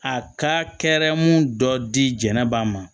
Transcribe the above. A kaɛrɛ mun dɔ di jɛnɛba ma